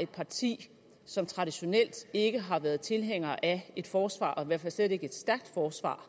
et parti som traditionelt ikke har været tilhængere af et forsvar hvert fald slet ikke et stærkt forsvar